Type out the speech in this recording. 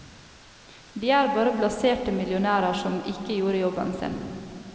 De er bare blaserte millionærer som ikke gjorde jobben sin.